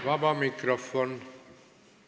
Vaba mikrofon.